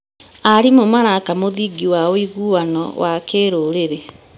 Arimũ maraka mũthingi wa ũiguano wa kĩrũrĩrĩ.